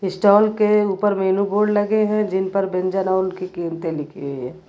Stall के ऊपर menu board लगे हैं जिन पर व्यंजन और उनकी कीमतें लिखी हुई है।